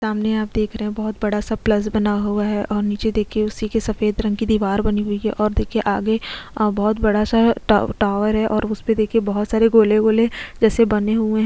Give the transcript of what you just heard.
सामने आप देख रहे हैं बहुत बड़ा सा प्लस बना हुआ है और नीचे देखिये उसी की सफेद रंग की दीवार बनी हुई है और देखिये के आगे अ बहुत बड़ा सा टा टावर है और उस पे देखिये बहुत सारे गोले गोले जैसे बने हुए --